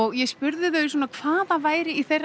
ég spurði þau hvað það væri í þeirra